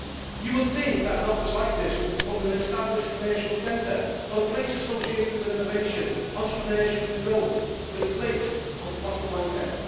You would think that an office like this would be put in an established commercial centre or a place associated with innovation, entrepreneurship and growth, but it is placed on the Costa Blanca.